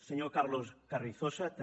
senyor carlos carrizosa també